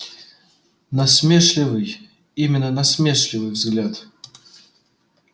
насмешливый именно насмешливый взгляд